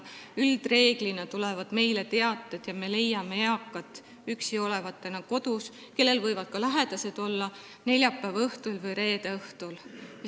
Üldreeglina tulevad meile teated üksi kodus olevate eakate kohta, kellel võivad ka lähedased olemas olla, neljapäeva või reede õhtul.